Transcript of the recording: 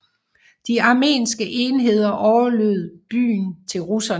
De armenske enheder overlod byen til russerne